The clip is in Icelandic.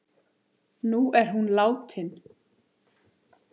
Nú er hún látin.